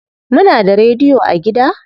Muna da rediyo a gida?